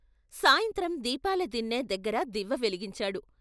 సాయంత్రం దీపాల దిన్నె దగ్గర దివ్వె వెలిగించాడు.